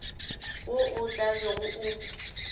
wo o tla bego o